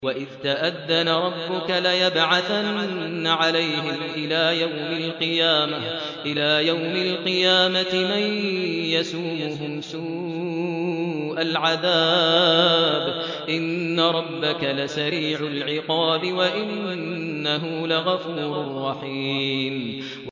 وَإِذْ تَأَذَّنَ رَبُّكَ لَيَبْعَثَنَّ عَلَيْهِمْ إِلَىٰ يَوْمِ الْقِيَامَةِ مَن يَسُومُهُمْ سُوءَ الْعَذَابِ ۗ إِنَّ رَبَّكَ لَسَرِيعُ الْعِقَابِ ۖ وَإِنَّهُ لَغَفُورٌ رَّحِيمٌ